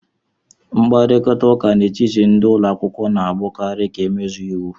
Mkparịta ụka n'etiti ndị ụlọ akwụkwọ na-abụkarị ka emezue iwu